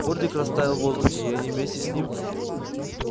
фордик растаял в воздухе и они вместе с ним